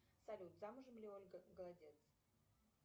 салют замужем ли ольга голодец